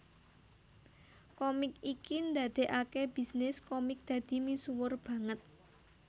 Komik iki ndadekake bisnis komik dadi misuwur banget